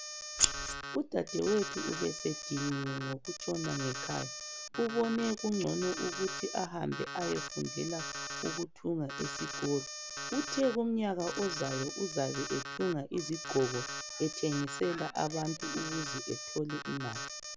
Udadewethu ubesediniwe ngokutshona ngekhaya. Ubone kngcono ukuthi ahambe ayefundela ukuthunga esikolo. Uthe kumnyaka ozayo uzabe ethunga izigqoko ethengisela abantu ukuze athole imali.